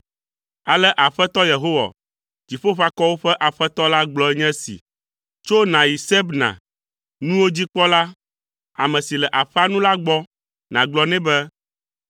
Ale Aƒetɔ Yehowa, Dziƒoʋakɔwo ƒe Aƒetɔ la, gblɔ nye esi, “Tso nàyi Sebna, nuwo dzikpɔla, ame si le aƒea nu la gbɔ, nàgblɔ nɛ be,